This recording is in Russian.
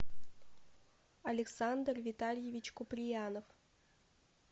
александр витальевич куприянов